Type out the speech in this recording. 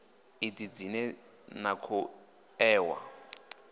idzi dzine na khou ṋewa